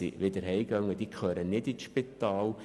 Sie gehören nicht in ein Spital.